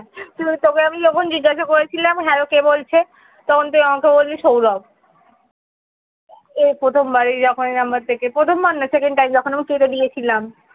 তোকে আমি যখন জিজ্ঞাসা করেছিলাম hello কে বলছে? তখন তুই আমাকে বললি সৌরভ এই প্রথমবারে যখন এই number থেকে. প্রথমবার না second time যখন আমি কেঁদে দিয়েছিলাম